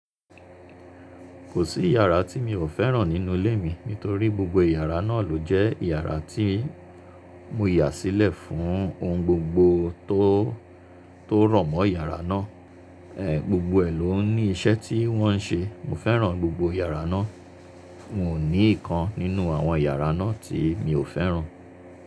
Kò sí iyàrá tí mi ò fẹ́ràn nínú ilé mi nítorí gbogbo iyàrá náà ló jẹ́ iyàrá tí mo yà sílẹ̀ fún ohun gbogbo tó, tó rọ̀ mọ́ iyàrá náà. Gbogbo ẹ̀ ló ní iṣẹ́ tí wọ́n n ṣe. Mo fẹ́ràn gbogbo yàrá náà. Mo ní ìkan nínú àwọn iyàrá náà tí mi ò fẹ́ràn.